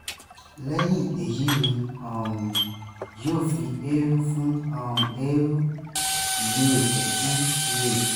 lẹ́yìn èyí ni wọn um yóò fi èérú fún um eérú yẹ́ẹ́pẹ́ fún yéèpẹ̀